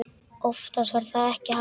Oftast var það ekki hægt.